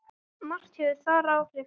Margt hefur þar áhrif.